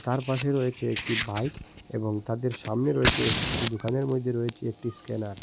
তার পাশে রয়েছে একটি বাইক এবং তাদের সামনে রয়েছে দোকানের মধ্যে রয়েছে একটি ইস্ক্যানার ।